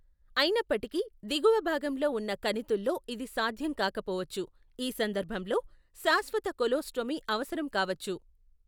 అయినప్పటికీ, దిగువ భాగంలో ఉన్న కణితుల్లో ఇది సాధ్యం కాకపోవచ్చు, ఈ సందర్భంలో, శాశ్వత కొలోస్టోమీ అవసరం కావచ్చు.